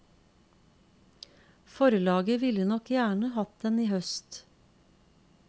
Forlaget ville nok gjerne hatt den i høst.